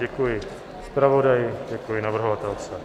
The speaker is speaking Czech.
Děkuji zpravodaji, děkuji navrhovatelce.